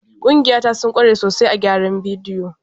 Ƙungiya ta sun kware sosai a gyaran bidiyo.